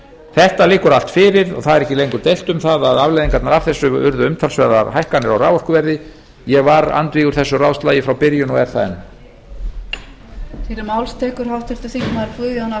þetta liggur allt fyrir og það er ekki lengur deilt um það að afleiðingarnar af þessu urðu umtalsverðar hækkanir á raforkuverði ég var andvígur þessu ráðslagi frá byrjun og er það enn